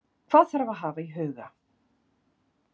Hvað þarf að hafa í huga?